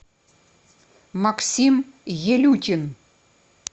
максим елюкин